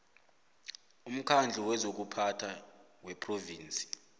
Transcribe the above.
womkhandlu wezokuphatha wephrovinsi